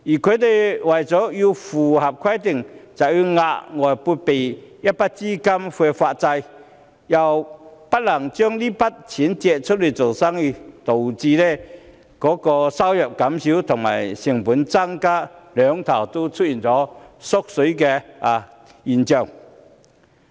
它們為了符合規定，便要額外撥備一筆資金來發債，不能把這筆錢借出去做生意，導致收入減少及成本增加的雙縮現象。